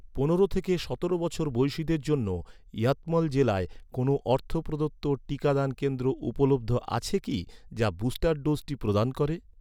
পনেরো থেকে সতেরো বছর বয়সিদের জন্য ইয়াতমল জেলায়, কোনও অর্থ প্রদত্ত টিকাদান কেন্দ্র উপলব্ধ আছে কি, যা বুস্টার ডোজটি প্রদান করে?